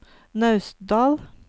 Naustdal